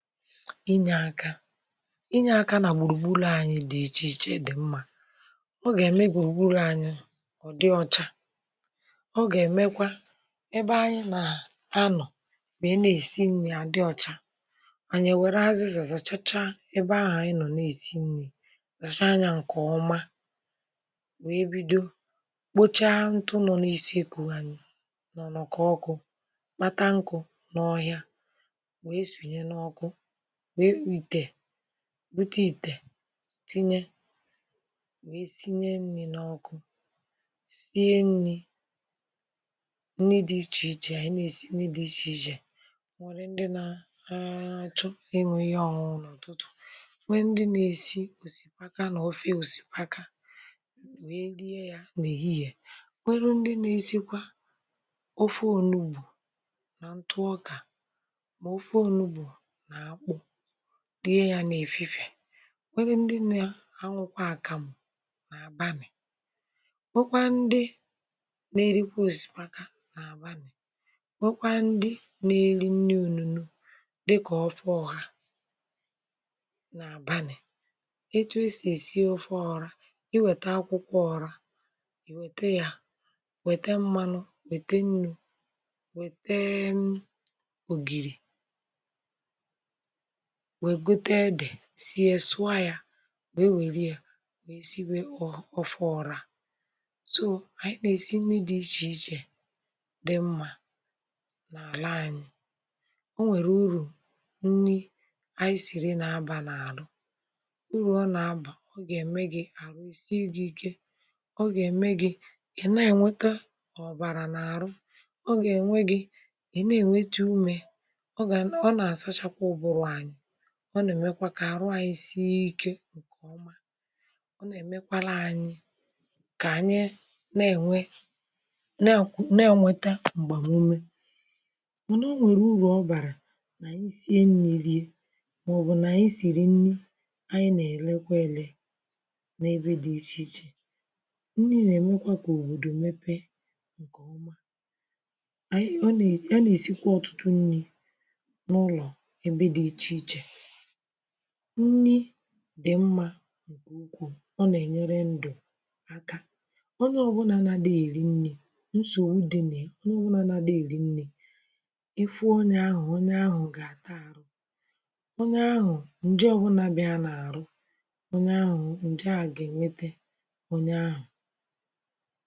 Inyē aka inyē aka nà gbùrùgburù anyị̄ dị̀ mmā ọ gà-ème gbùrùgburù ànyị ọ̀ dị ọchā ọgà-èmekwa ebe anyị nà-anọ̀ wee nà-èsi nnī à dị ọchā ànyị è were azịzà zàchachaa ebe ahụ̀ ànyị nọ̀ nà-èsi nnī zachaa ya ǹkè wee bido kpochaa ntụ nọ̀ n’isi ekwunwanụ nọ̀ n’ùkọ ọkụ̄ kpata nkụ n’ọhịa wee sùnye n’ọkụ wee ìtè bute ìtè tinye wee sinye nni n’ọkụ sie nnī nni di ichèichè ànyị nà-èsi nnī di ichèichè nwee ndi nà-àchọ iñụ̄ ihe ọ̀ñụñụ n’ụ̀tụtụ̀ nwee ndi nà-èsi òsikapa òsikapa nà ofe òsipaka nwee rie yā n’èhihè nwerụ ndi nà-èsikwa ofe ònugbò nà ǹtụ ọkà mà ofe ònugbò nà akpụ rie ya n’èfifè nworu ndi nà-àñụkwa àkàm n’àbanị̀ nwokwaa nde nà-èrikwa òsipaka n’àbanị̀ nwokwaa ndi nà-èni nni òlulo dịkà ofe ọhā n’àbanị̀ ètù e sì èsi ofe ọrā iwèta akwụkwọ ọrā wète ya wète mmanụ wète nnū wète ògèrì wee gote edè sie sụọ ya wee wèrie wee sibe ofe ọrā so ànyị nà-èsi nri di ichèichè dị̀ mmā n’àlà ànyị o nwèrè urù nni àyị siri nà-abà n’àrụ urù ọ nà-abà ọ gà-ème gi àhụ è sie gi ike ọ gà-ème gi ị̀ nà-ènwete ọ̀bàrà n’àhụ ọ gà-ème gi ị̀ na-ènwete umē ọ gà nàà ọ nà-àsachakwa ụ̀bụrụ̀ ànyị ọ nà-èmekwa kà àrụ anyị̄ sie ike ǹkèọma nà-èmekwala ànyị ka ànyị na-ènwe nà-àkwụ nà-ènweta m̀gbàmume m̀anà o nwèrè urù ọ bàrà mà ànyị sie nrī nie màọbụ̀ nà ànyị sìrì nni ànyị nà-èlekwe elē n’ebe di ichèichè nli na-èmekwa kà òbòdò mepee ǹkè ọma àyị ọ nà-èsi e nà-èsikwa ọ̀tụtụ nnī n’ụlọ̀ ebe di ichèichè nni dị̀ mmā ǹkè ukwuu ọ nà-ènyere ndụ̀ aka ọnye ọbụlà nààdi èli nli nsògbu di nia onye naadị̄ èli nlī ịfụ onye ahụ onye ahụ̀ gà-àta arụ̄ onye ahụ̀ ǹje ọbụlà biara ya n’àhụ onye àhụ ǹjea gà-ènwete onye àhụ